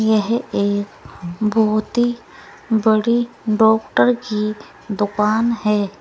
यह एक बहुत ही बड़ी डॉक्टर की दुकान है।